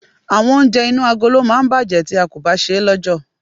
Àwọn oúnjẹ inú agolo máa ń bàjẹ́ tí a kò bá ṣe é lọ́jọ̀.